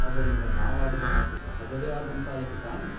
ಅದರಿಂದ ನಾವಾಡಿದ ಮಾತು ಸಹಜವೇ ಆದಂತಾಯಿತು ತಾನೇ ?